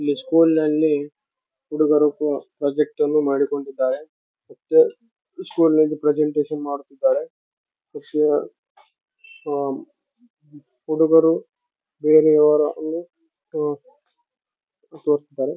ಇಲ್ಲಿ ಸ್ಕೂಲ್‌ ಅಲ್ಲಿ ಹುಡುಗರು ಪ್ರಾ ಪ್ರಾಜೆಕ್ಟ್‌ ಅನ್ನು ಮಾಡಿಕೊಂಡಿದ್ದಾರೆ ಸ್ಕೂಲ್‌ ಅಲ್ಲಿ ಪ್ರೆಸೆಂಟೇಶನ್‌ ಮಾಡುತ್ತಿದ್ದಾರೆ ಹುಡುಗರು ಬೇರಯವರಲ್ಲಿ .